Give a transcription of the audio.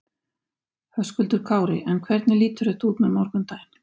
Höskuldur Kári: En hvernig lítur þetta út með morgundaginn?